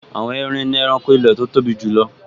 Àwọn erin ni ẹranko ilẹ̀ tó tóbi jùlọ